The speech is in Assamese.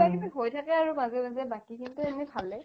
কিবা কিবি হৈ থাকে আৰু মাজে মাজে বাকিখিনিতো এনে ভালে